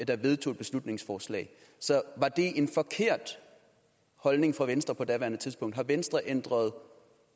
der vedtog et beslutningsforslag var det en forkert holdning fra venstres side på daværende tidspunkt har venstre ændret